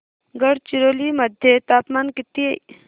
गडचिरोली मध्ये तापमान किती